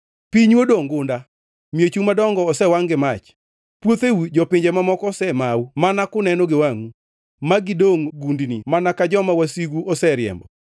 Pinyu odongʼ gunda, miechu madongo osewangʼ gi mach; puotheu jopinje mamoko osemau mana kuneno gi wangʼu, ma gidongʼ gundni mana ka joma wasigu oseriembo.